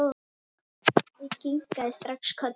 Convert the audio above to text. Ég kinkaði strax kolli.